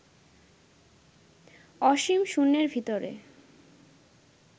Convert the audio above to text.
অসীম শূন্যের ভিতরে